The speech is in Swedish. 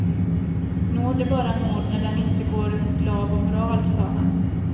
Nåd är bara nåd när den inte går emot lag och moral, sade han.